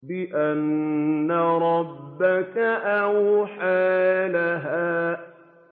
بِأَنَّ رَبَّكَ أَوْحَىٰ لَهَا